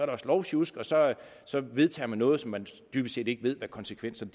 også lovsjusk og så vedtager man noget som man dybest set ikke ved hvad konsekvenserne